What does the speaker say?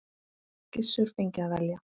Gissur fengi að velja.